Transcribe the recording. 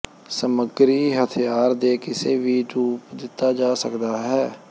ਸਮੱਗਰੀ ਹਥਿਆਰ ਦੇ ਕਿਸੇ ਵੀ ਰੂਪ ਦਿੱਤਾ ਜਾ ਸਕਦਾ ਹੈ